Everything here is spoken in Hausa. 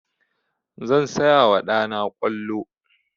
Zan saya wa ɗa na ƙwallo.